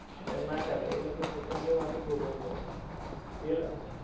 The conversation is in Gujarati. એમ ના કરાએ એ લોકો એમ પછી એમની માથેજ ભોગવું પડે એલા